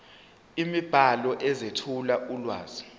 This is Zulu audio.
imibhalo ezethula ulwazi